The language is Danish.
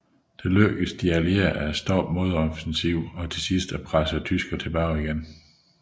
Det lykkedes de allierede at standse modoffensiven og til sidst at presse tyskerne tilbage igen